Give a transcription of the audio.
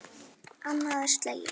Annað er slegið.